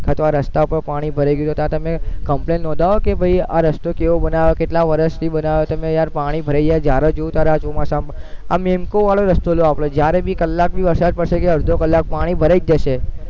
અથવા આ રસ્તા પર પાણી ભરાઈ ગયું તો ત્યાં તમે complain નોંધાવો કે ભૈ આ રસ્તો કેવો બનાયો કેટલા વર્ષોથી બનાયો તમે યાર ભરાઈ ગયા જયારે જોઈ ત્યારે ચોમાસામાં આ મેમ્કો વાળો રસ્તો છે આપણે જયારે ભી કલાક વરસાદ વર્ષે કે અડધો કલાક પાણી ભરાઈ જ જશે